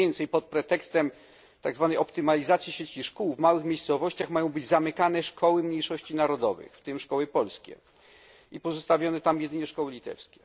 Pod pretekstem tak zwanej optymalizacji sieci szkół w małych miejscowościach mają być zamykane szkoły mniejszości narodowych, w tym szkoły polskie, i pozostawione tam tylko szkoły litewskie.